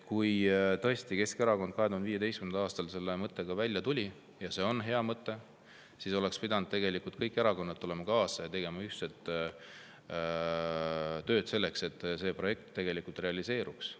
Kui Keskerakond 2015. aastal selle mõttega välja tuli, ja see on hea mõte, siis oleks pidanud tegelikult kõik erakonnad sellega kaasa tulema ja tegema ühiselt tööd selleks, et see projekt realiseeruks.